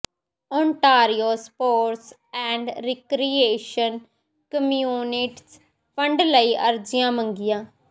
Ontario sports and recreation communities fund ਲਈ ਅਰਜ਼ੀਆਂ ਮੰਗੀਆਂ